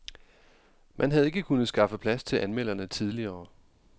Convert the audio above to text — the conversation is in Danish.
Man havde ikke kunnet skaffe plads til anmelderne tidligere.